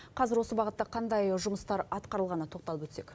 қазір осы бағытта қандай жұмыстар атқарылғанына тоқталып өтсек